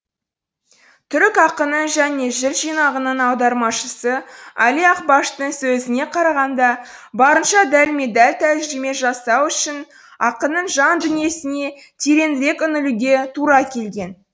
түрік ақыны және жыр жинағының аудармашысы али акбаштың сөзіне қарағанда барынша дәлме дәл тәржіме жасау үшін ақынның жан дүниесіне тереңірек үңілуге тура келген